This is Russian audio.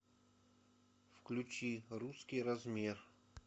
включи русский размер